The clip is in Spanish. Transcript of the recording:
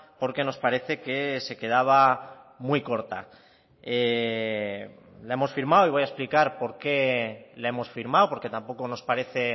porque nos parece que se quedaba muy corta la hemos firmado y voy a explicar por qué la hemos firmado porque tampoco nos parece